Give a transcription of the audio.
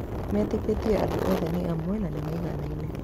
Metĩkĩtie andũ othe nĩ amwe na nĩ maiganaine.